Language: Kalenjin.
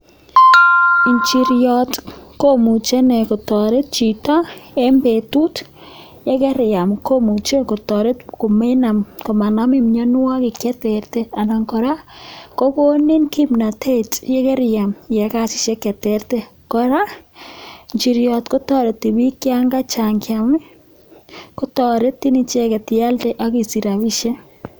Ichiryot ko muchi ine kotoret chito eng betut ye keriyam komuchi kotoret ko manamin mienwogik che terter anan kora, kokonin kimnatetikeriam iyai kasishek che terter. Kora ichiryot kotoreti bik cha chang chang kotoretin ialde ak isich rabiishek.